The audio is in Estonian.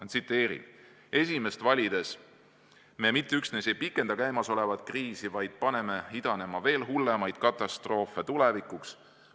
Ma tsiteerin: "Esimest valides me mitte üksnes ei pikenda käimasolevat kriisi, vaid paneme idanema veel hullemaid katastroofe tulevikuks.